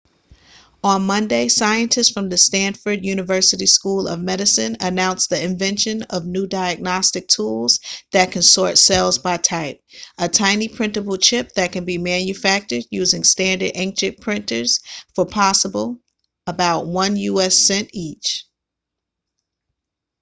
on monday scientists from the stanford university school of medicine announced the invention of a new diagnostic tool that can sort cells by type a tiny printable chip that can be manufactured using standard inkjet printers for possibly about one u.s. cent each